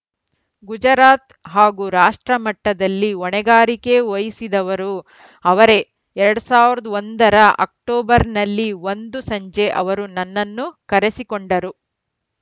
ಗುಜರಾತ್‌ ಹಾಗೂ ರಾಷ್ಟ್ರ ಮಟ್ಟದಲ್ಲಿ ಹೊಣೆಗಾರಿಕೆ ವಹಿಸಿದವರು ಅವರೇ ಎರಡ್ ಸಾವಿರದ ಒಂದ ರ ಅಕ್ಟೋಬರ್‌ನಲ್ಲಿ ಒಂದು ಸಂಜೆ ಅವರು ನನ್ನನ್ನು ಕರೆಸಿಕೊಂಡರು